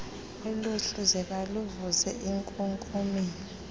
oluhluzeka luvuze enkunkumeni